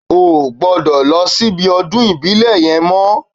Ó ò gbọ́dọ̀ lọ síbi ọdún ìbílẹ̀ yẹn mọ́